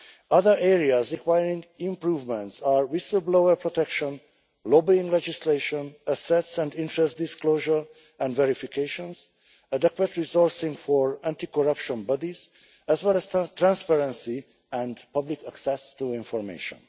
Other areas requiring improvement are whistle-blower protection, lobbying legislation, assets and interest disclosure and verifications, adequate resourcing for anti corruption bodies, as well as transparency and public access to information.